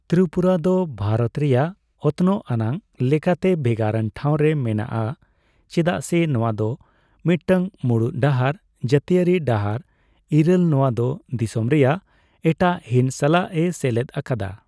ᱛᱨᱤᱯᱩᱨᱟ ᱫᱚ ᱵᱷᱟᱨᱚᱛ ᱨᱮᱭᱟᱜ ᱚᱛᱱᱚᱜ ᱟᱱᱟᱜ ᱞᱮᱠᱟᱛᱮ ᱵᱷᱮᱜᱟᱨ ᱟᱱ ᱴᱷᱟᱣ ᱨᱮ ᱢᱮᱱᱟᱜᱼᱟ, ᱪᱮᱫᱟᱜ ᱥᱮ ᱱᱚᱣᱟ ᱫᱚ ᱢᱤᱫᱴᱟᱝ ᱢᱩᱬᱩᱫ ᱰᱟᱦᱟᱨ, ᱡᱟᱹᱛᱤᱭᱟᱹᱨᱤ ᱰᱟᱦᱟᱨ ᱤᱨᱟᱹᱞ , ᱱᱚᱣᱟ ᱫᱚ ᱫᱤᱥᱚᱢ ᱨᱮᱭᱟᱜ ᱮᱴᱟᱜ ᱦᱤᱸᱥ ᱥᱟᱞᱟᱜᱼᱮ ᱥᱮᱞᱮᱫ ᱟᱠᱟᱫᱟ ᱾